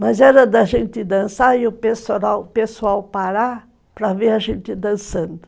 Mas era da gente dançar e o pessoal parar para ver a gente dançando.